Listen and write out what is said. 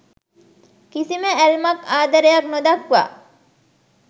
කිසිම ඇල්මක් ආදරයක් නොදක්වා